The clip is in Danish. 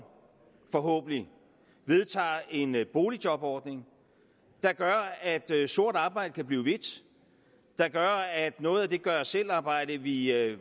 forhåbentlig vedtager en boligjobordning der gør at sort arbejde kan blive hvidt der gør at noget af det gør det selv arbejde vi ja